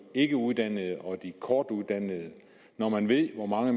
ikkeuddannede og de kortuddannede når man ved hvor mange